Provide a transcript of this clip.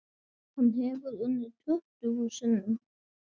Hann hefur unnið tuttugu sinnum.